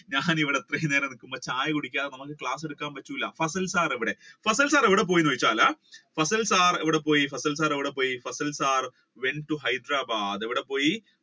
ഞാൻ ഇവിടെ വൈകുന്നേരം ചായ കുടിക്കാതെ class എടുക്കാൻ പറ്റുകയില്ല Fasal sir എവിടെ പോയെന്ന് വെച്ചാൽ fasal sir fasal sir എവിടെ പോയി went to Hyderabad എവിടെപ്പോയി